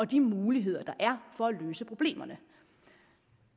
de muligheder der er for at løse problemerne